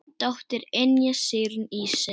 Þín dóttir, Ynja Sigrún Ísey.